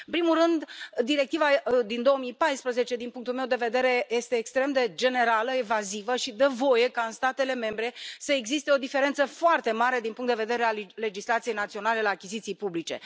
În primul rând, directiva din 2014, din punctul meu de vedere, este extrem de generală, evazivă și dă voie ca în statele membre să existe o diferență foarte mare din punct de vedere al legislației naționale la achiziții publice.